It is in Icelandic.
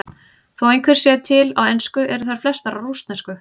Þó einhverjar séu til á ensku eru þær flestar á rússnesku.